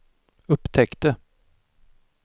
upptäckte